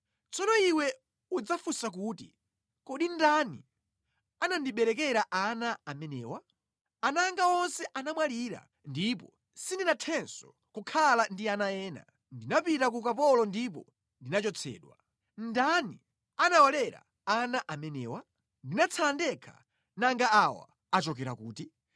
Tsono iwe udzadzifunsa kuti, ‘Kodi ndani anandiberekera ana amenewa? Ana anga onse anamwalira ndipo sindinathenso kukhala ndi ana ena; ndinapita ku ukapolo ndipo ndinachotsedwa. Ndani anawalera ana amenewa? Ndinatsala ndekha, nanga awa, achokera kuti?’ ”